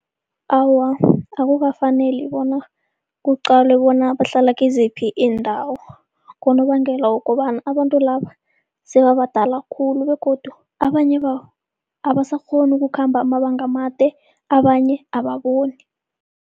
Awa, akukafaneli bona kuqalwe bona bahlala kiziphi iindawo. Ngonobangela wokobana abantu laba sebabadala khulu begodu abanye babo abasakghoni ukukhamba amabanga amade, abanye ababoni.